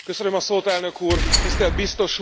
Elnök Úr, Tisztelt Biztos Úr!